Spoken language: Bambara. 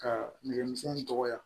Ka nɛgɛmisɛn in dɔgɔya